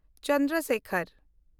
Chandra Sekhar